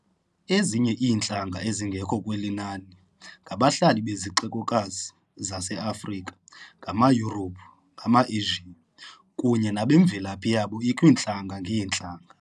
ezinye iintlanga ezingekho kweli nani ngabahlali bezixekokazi zaseAfrika ngamaYurophu, ngamaamaAsia, kunye nabamvelaphi yabo ikwiintlanga-ngeentlanga.